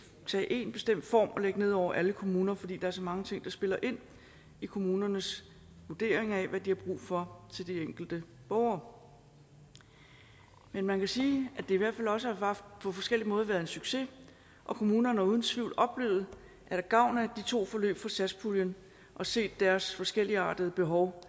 tage én bestemt form og lægge ned over alle kommuner fordi der er så mange ting der spiller ind i kommunernes vurdering af hvad de har brug for til de enkelte borgere men man kan sige at det i hvert fald også på forskellig måde har været en succes og kommunerne har uden tvivl oplevet at have gavn af de to forløb fra satspuljen og set deres forskelligartede behov